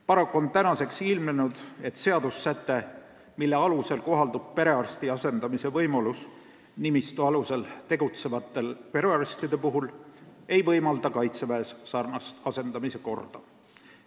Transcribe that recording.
Paraku on ilmnenud, et seadussäte, mille alusel kohaldub perearsti asendamise võimalus nimistu alusel tegutsevate perearstide puhul, ei võimalda Kaitseväes samasugust asendamise korda.